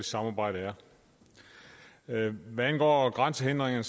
samarbejde er hvad angår grænsehindringerne